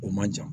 O man jan